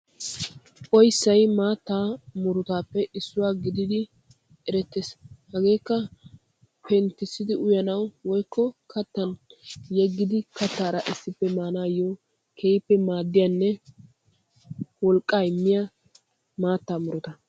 Oyssay maattaa murutaappe issuwaa gididi erettes. Hageekka penttissidi uyanaw woykko kattan yeggidi kattaara issippe maanaayo keehippe maaddiyaanne wolqqaa immiyaa maattaa muruta.